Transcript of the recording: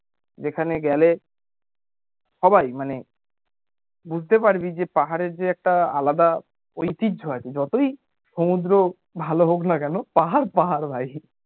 যেখানে গেলে সবাই মানে বুঝতে পারবি যে পাহাড়ের যে একটা আলাদা ঐতিহ্য আছে যতই সমুদ্র ভালো হোক না কেন পাহাড় পাহাড় ভাই